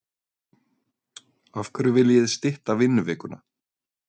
Af hverju viljið þið stytta vinnuvikuna?